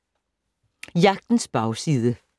Jagtens bagside